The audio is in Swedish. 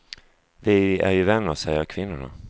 Vi är ju vänner, säger kvinnorna.